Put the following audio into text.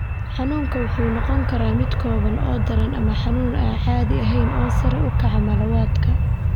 Xanuunku wuxuu noqon karaa mid kooban oo daran ama xanuun aan caddayn oo sare u kaca malawadka.